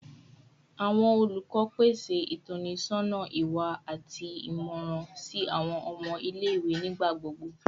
Awọn olukọ pese itọnisọna iwa ati imọran si awọn ọmọ ile-iwe nigbagbogbo